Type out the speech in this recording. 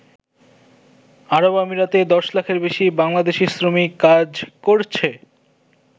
আরবআমিরাতে ১০ লাখের বেশি বাংলাদেশি শ্রমিক কাজ করছে।